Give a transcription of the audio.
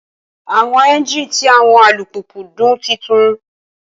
Awọn engine ti awọn alupupu dun titun